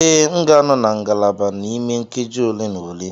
Ee, m ga-anọ na ngalaba n'ime nkeji ole na ole.